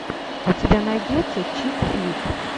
у тебя найдется чик флик